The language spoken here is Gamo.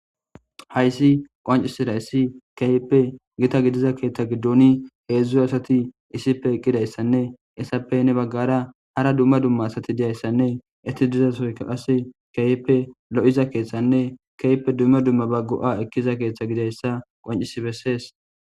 Hayssi qoncisira issi keyppe gita gidiza keeththa giddoni heedzdz asati issife eqqidayssanne essappene baggara hara dumma dumma asati diyayssanne etti dizasoykaas keeyppe lo'iza keeththanne keeyppe dumma dumma baggo'a ekkiza keeththa gidayssa qoncisi bessees.